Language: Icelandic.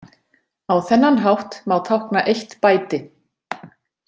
Á þennan hátt má tákna eitt bæti.